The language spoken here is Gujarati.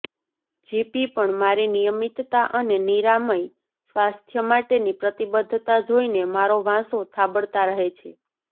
જીપી પણ મારી નિયમિતતા અને નિરામય સ્વાસ્થ્ય માટેની પ્રતિબદ્ધતા જોઇને મારો વાંસો થાબડતા રહે છે